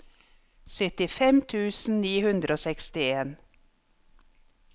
syttifem tusen ni hundre og sekstien